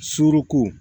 Suruko